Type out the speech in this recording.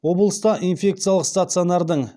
облыста инфекциялық стационардың